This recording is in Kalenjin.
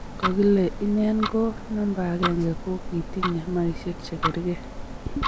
Kikokile inen ak namba akenge ko kitinye makishe che kerkei